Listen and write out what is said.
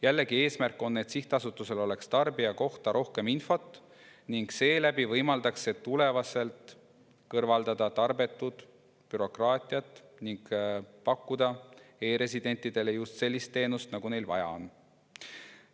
Jällegi, eesmärk on, et sihtasutusel oleks tarbija kohta rohkem infot, mis võimaldaks tulevikus kõrvaldada tarbetut bürokraatiat ning pakkuda e‑residentidele just sellist teenust, nagu neil vaja on.